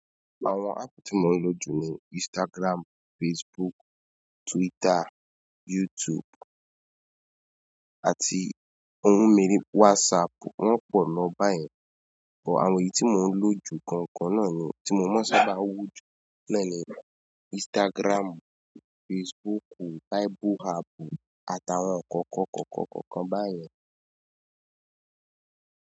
Àwọn áàpù tí mò ń lò jù ni Instagram, Facebook, Twitter, YouTube àti ohun miri WhatsApp. Wọ́n pọ̀ loo báyẹn, àwọn èyí tí mò ń lò jù gangan náà ni tí mo mọ́ n sábà wò jù. Oun na ni, Instagram, Facebook, bible app àtàwọn kọ̀ọ̀kan kọ̀ọ̀kan kọ̀ọ̀kan báyẹn.